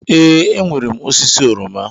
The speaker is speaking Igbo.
Ee, enwere m osisi oroma.